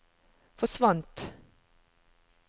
forsvant